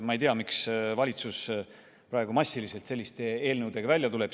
Ma ei tea, miks valitsus praegu massiliselt selliste eelnõudega välja tuleb.